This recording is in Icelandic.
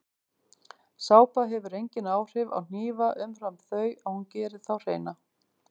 Sápa hefur engin áhrif á hnífa umfram þau að hún gerir þá hreina.